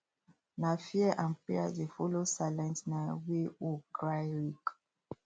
nah fear and prayers dey follow silent night wey owl cry